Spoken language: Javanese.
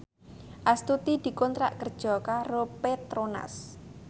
Astuti dikontrak kerja karo Petronas